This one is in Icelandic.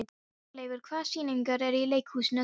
Hjörleifur, hvaða sýningar eru í leikhúsinu á þriðjudaginn?